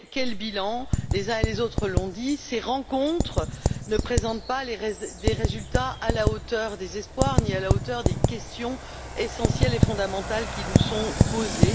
Mais, quel en est le bilan? Les uns et les autres l'ont dit, ces rencontres ne présentent pas des résultats à la hauteur des espoirs, ni à la hauteur des questions essentielles et fondamentales qui nous sont posées.